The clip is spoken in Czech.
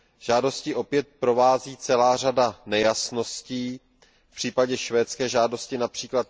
Žádosti opět provází celá řada nejasností, v případě švédské žádosti např.